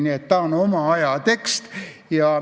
Nii et see on oma aja tekst.